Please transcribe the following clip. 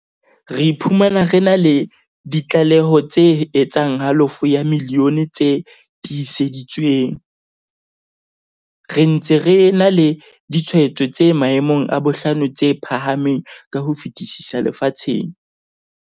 Re iphumana re na le di tlaleho tse etsang halofo ya milione tse tiiseditsweng, re ntse re na le ditshwaetso tse maemong a bohlano tse phahameng ka ho fetisisa lefatsheng.